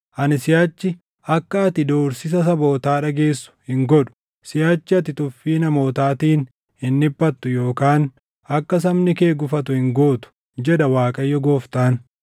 Ani siʼachi akka ati doorsisa sabootaa dhageessu hin godhu; siʼachi ati tuffii namootaatiin hin dhiphattu yookaan akka sabni kee gufatu hin gootu, jedha Waaqayyo Gooftaan.’ ”